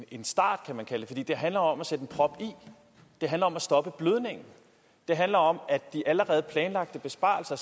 en start kan man kalde det for det handler om at sætte en prop i det handler om at stoppe blødningen det handler om at de allerede planlagte besparelser